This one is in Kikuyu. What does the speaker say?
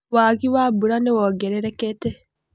Wagi wa mbura nĩwongererekete.